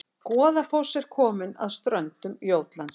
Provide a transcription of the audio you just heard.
Goðafoss er komin að ströndum Jótlands